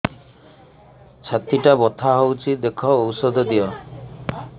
ଛାତି ଟା ବଥା ହଉଚି ଦେଖ ଔଷଧ ଦିଅ